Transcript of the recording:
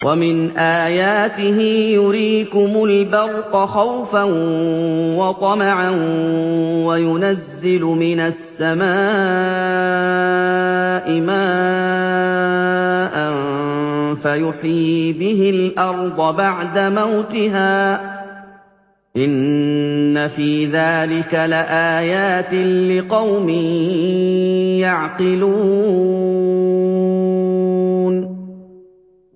وَمِنْ آيَاتِهِ يُرِيكُمُ الْبَرْقَ خَوْفًا وَطَمَعًا وَيُنَزِّلُ مِنَ السَّمَاءِ مَاءً فَيُحْيِي بِهِ الْأَرْضَ بَعْدَ مَوْتِهَا ۚ إِنَّ فِي ذَٰلِكَ لَآيَاتٍ لِّقَوْمٍ يَعْقِلُونَ